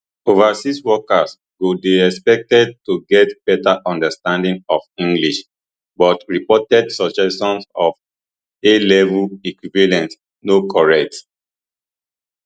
overseas workers go dey expected to get better understanding of english but reported suggestions of alevel equivalent no correct